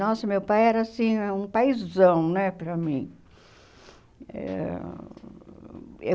Nossa, meu pai era assim um paizão né para mim. Eh e